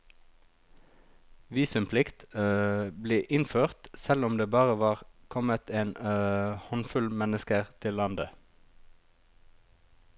Visumplikt ble innført selv om det bare var kommet en håndfull mennesker til landet.